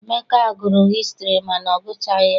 Emeka gụrụ hịstrị mana ọ gụchaghi ya.